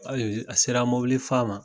a sera mɔbili fa ma.